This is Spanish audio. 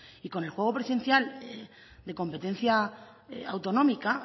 y con el juego presencial de competencia autonómica